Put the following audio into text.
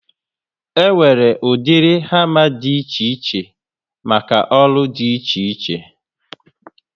E nwere ụdịrị hama dị ichè ichè maka ọrụ dị iche iche